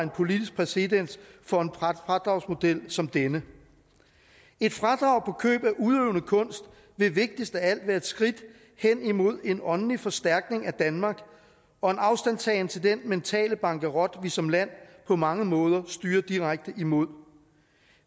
politisk præcedens for en fradragsmodel som denne et fradrag på køb af udøvende kunst ville vigtigst af alt være et skridt hen imod en åndelig forstærkning af danmark og en afstandtagen til den mentale bankerot vi som land på mange måder styrer direkte imod